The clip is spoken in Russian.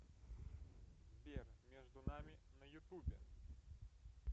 сбер между нами на ютубе